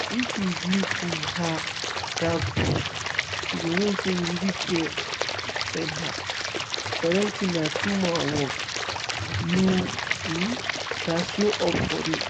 if you give um her that boost she go know say you really care send her. parenting na two-man work you um gats show up for real.